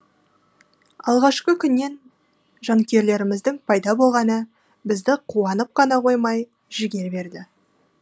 алғашқы күннен жанкүйерлеріміздің пайда болғаны бізді қуанып қана қоймай жігер берді